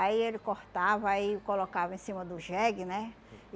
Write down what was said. Aí ele cortava e colocava em cima do jegue, né?